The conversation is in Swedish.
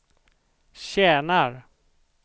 tjänar